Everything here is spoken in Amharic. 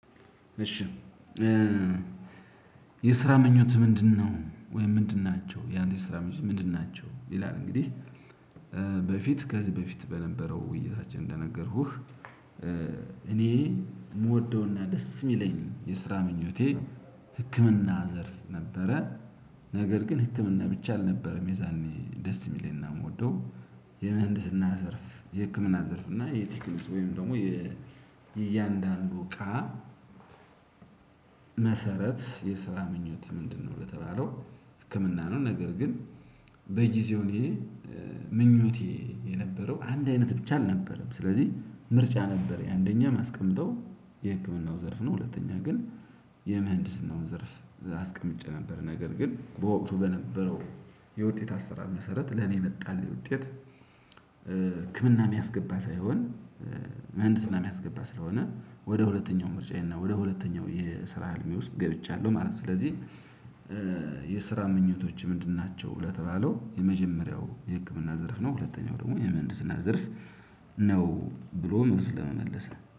እሺ የስራ ምኞትህ ምንድነው? ወይም ምንድን ናቸው? ያንተ የስራ ምኞት ምንድን ናቸው? ይላል እንግዲህ በፊት ከዚህ በፊት በነበረው ውይይታችን እንደነገርኩህ እኔ የምወደውና ደስ የሚለኝ የስራ ምኞቴ ህክምና ዘርፍ ነበረ ነገር ግን ህክምና ብቻ አልነበረም የዛኔ ደስ የሚለኝና የምወደው የምህንድስና ዘርፍ የህክምና ዘርፍ እና የቲክልጽ ወይም ደግሞ የእያንዳንዱ እቃ መሰረት የስራ ምኞትህ ምንድነው? ለተባለው ህክምና ነው ነገር ግን በጊዜው እኔ ምኞቴ የነበረው አንድ አይነት ብቻ አልነበረም ስለዚህ ምርጫ ነበረኝ አንደኛ ማስቀመጠው የህክምናው ዘርፍ ነው ሁለተኛ ግን የምህንድስናውን ዘርፍ አስቀምጬ ነበር ነገር ግን በወቅቱ በነበረው የውጤት አሰራር መሰረት ለኔ የመጣልኝ ውጤት ህክምና የሚያስገባ ሳይሆን ምህንድስና የሚያስገባ ስለሆነ ወደ ሁለተኛው ምርጫዬ እና ወደ ሁለተኛው የስራ ህልሜ ውስጥ ገብቻለሁ ማለት ነው ስለዚህ የስራ ምኞቶችህ ምንድን ናቸው? ለተባለው የመጀመሪያው የህክምና ዘርፍ ነው ሁለተኛው ደግሞ የምህንድስና ዘርፍ ነው ብሎ መልሱን ለመመለስ ነው።